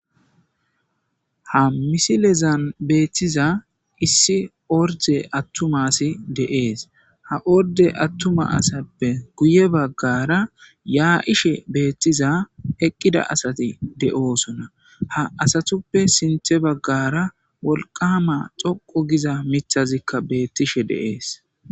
Ha misilezan beettiza issi orde attumasi deees ha orde attuma asappe guye baggara yaa7ishe beettiza eqqida asati de7oosona ha asatuppe sinthe baggara wolqama xoqu giza mithazikka beettishe deees.